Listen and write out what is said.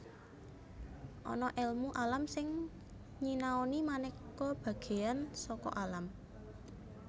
Ana èlmu alam sing nyinaoni manéka bagéan saka alam